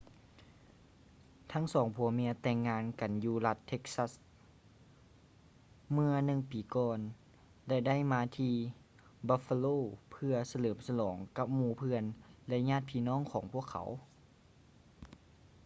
ທັງສອງຜົວເມຍແຕ່ງງານກັນຢູ່ລັດ texas ເມື່ອໜຶ່ງປີກ່ອນ ແລະ ໄດ້ມາທີ່ buffalo ເພື່ອສະເຫຼີມສະຫຼອງກັບໝູ່ເພື່ອນ ແລະ ຍາດພີ່ນ້ອງຂອງພວກເຂົາ